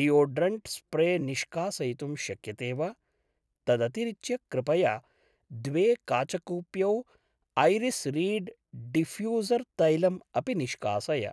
Deodorant spray निष्कासयितुं शक्यते वा? तदतिरिच्य कृपया द्वे काचकूप्यौ ऐरिस् रीड् डिफ्यूसर् तैलम् अपि निष्कासय।